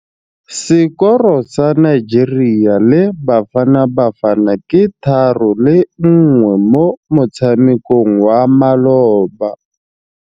Sekôrô sa Nigeria le Bafanabafana ke 3-1 mo motshamekong wa malôba.